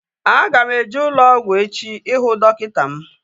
Aga m eje ụlọ ọgwụ echi ihu dọkịta m